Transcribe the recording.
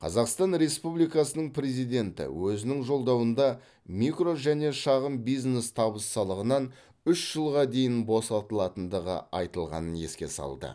қазақстан республикасының президенті өзінің жолдауында микро және шағын бизнес табыс салығынан үш жылға дейін босатылатындығы айтылғанын еске салды